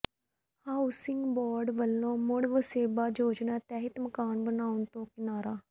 housing board ਵੱਲੋਂ ਮੁੜ ਵਸੇਬਾ ਯੋਜਨਾ ਤਹਿਤ ਮਕਾਨ ਬਣਾਉਣ ਤੋਂ ਕਿਨਾਰਾ